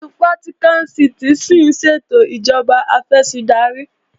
Ìlú Vatican City ṣín ṣètò ìjọba afẹ̀sìndarí